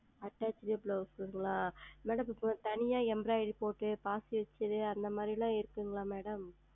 Attached Blouse ங்களா Madam இப்பொழுது தனியாக Embroidery செய்து பாசி வைத்தது அந்த மாதிரி எல்லாம் இருக்கிறதா Madam